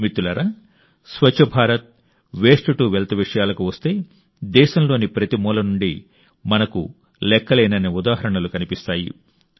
మిత్రులారా Swachh Bharat waste to wealth విషయాలకు వస్తే దేశంలోని ప్రతి మూల నుండి మనకు లెక్కలేనన్ని ఉదాహరణలు కనిపిస్తాయి